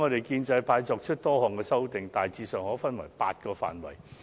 建制派作出多項修訂，大致可分為8個範疇。